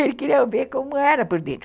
Ele queria ver como era por dentro.